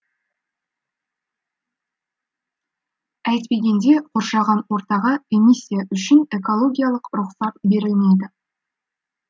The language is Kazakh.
әйтпегенде қоршаған ортаға эмиссия үшін экологиялық рұқсат берілмейді